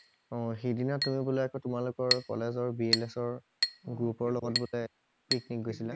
অ সেই দিনা তুমি বোলে আকৌ তোমালোকৰ কলেজৰ বিৰলেছৰ গ্ৰোপৰ লগত বোলে পিকনিক গৈছিলা